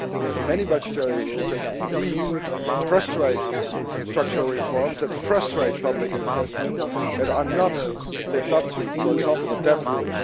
We have many budgetary rules that do indeed frustrate structural reforms and frustrate public investment, and are not lived up to for example the debt rule.